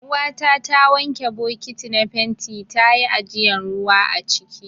Uwata ta wanke bokiti na fenti ta yi ajiyan ruwa aciki.